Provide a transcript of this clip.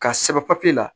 Ka sɛbɛn papiye la